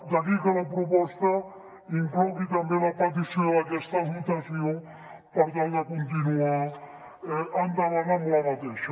d’aquí que la proposta inclogui també la petició d’aquesta dotació per tal de continuar endavant amb aquesta